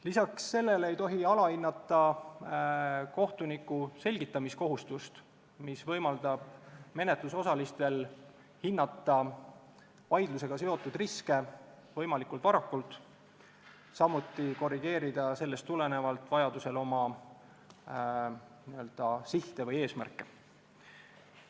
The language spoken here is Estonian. Lisaks ei tohi alahinnata kohtuniku selgitamiskohustust, mis võimaldab menetlusosalistel hinnata vaidlusega seotud riske võimalikult varakult, samuti korrigeerida sellest tulenevalt vajadusel oma n-ö sihte või eesmärke.